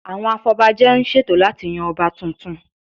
Àwọn afọbajẹ ń ṣètò láti yan Ọba tuntun